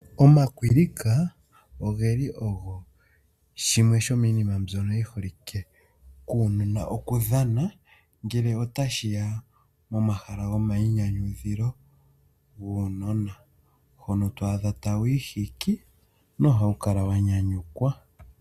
Omakwilika ogeli ogo shimwe shomiinima mbyoka yiholike kuunona okudhanwa ngele otashi ya pomahala gomayinyanyudho gaanona. Otwaadha ta wu ihiki na ohawu kala wa nyanyukwa.